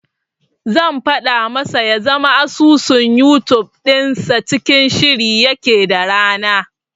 Zan faɗa masa ya zama asusun Yutub dinsa cikin shiri yake da rana.